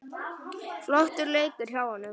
Flottur leikur hjá honum.